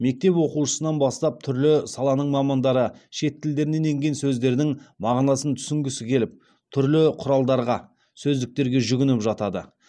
мектеп оқушысынан бастап түрлі саланың мамандары шет тілдерінен енген сөздердің мағынасын түсінгісі келіп түрлі құралдарға сөздіктерге жүгініп жатады